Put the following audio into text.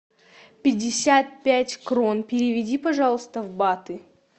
пятьдесят пять крон переведи пожалуйста в баты